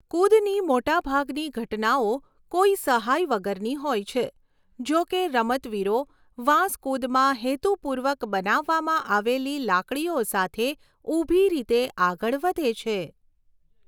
કુદની મોટાભાગની ઘટનાઓ કોઈ સહાય વગરની હોય છે, જોકે રમતવીરો વાંસ કુદમાં હેતુપૂર્વક બનાવવામાં આવેલી લાકડીઓ સાથે ઊભી રીતે આગળ વધે છે.